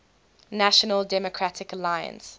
national democratic alliance